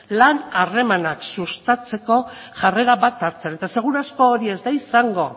lan harremanak sustatzeko jarrera bat hartzen eta seguru asko hori ez da izango